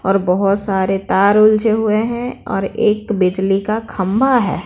और बहुत सारे तार उलझे हुए हैं और एक बिजली का खम्बा है।